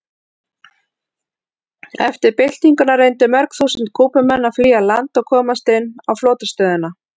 Eftir byltinguna reyndu mörg þúsund Kúbumenn að flýja land og komast inn á flotastöðina.